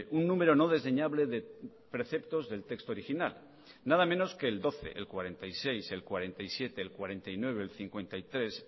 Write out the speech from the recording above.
un número no desdeñable de preceptos del texto original nada menos que el doce el cuarenta y seis el cuarenta y siete el cuarenta y nueve el cincuenta y tres